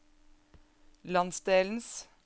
landsdelens